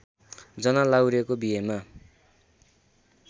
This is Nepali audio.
जना लाहुरेको बिहेमा